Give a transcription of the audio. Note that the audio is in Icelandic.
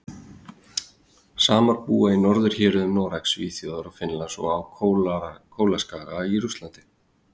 Samar búa í norðurhéruðum Noregs, Svíþjóðar og Finnlands og á Kólaskaga í Rússlandi.